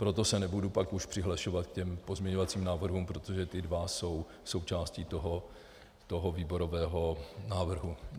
Proto se nebudu pak už přihlašovat k těm pozměňovacím návrhům, protože ty dva jsou součástí toho výborového návrhu.